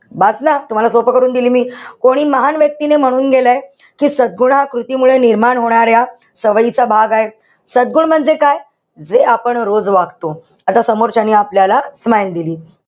बस ना? तुम्हाला सोपं करून दिली मी हि. कोणी महान व्यक्तीने म्हणून गेलंय. कि सद्गुणाकृती मुळे निर्माण होणाऱ्या सवयीचा भाग आहे. सद्गुण म्हणजे काय? जे आपण रोज वागतो. आता समोरच्यानी आपल्याला smile दिली.